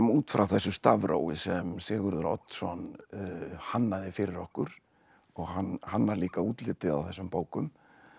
út frá þessu stafrófi sem Sigurður Oddsson hannaði fyrir okkur og hann hannar líka útlitið á þessum bókum